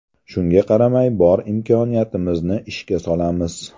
Shunga qaramay bor imkoniyatimizni ishga solamiz.